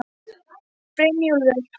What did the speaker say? Brynjúlfur, hvað er klukkan?